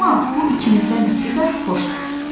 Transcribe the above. Amma bu ikimizdən ötrü də xoşdur.